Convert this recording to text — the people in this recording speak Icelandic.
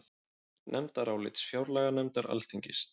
Nefndarálit fjárlaganefndar Alþingis